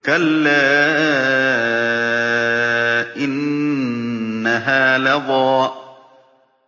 كَلَّا ۖ إِنَّهَا لَظَىٰ